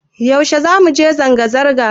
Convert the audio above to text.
Yaushe zamu je zanga-zanga?